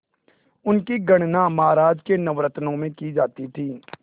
उनकी गणना महाराज के नवरत्नों में की जाती थी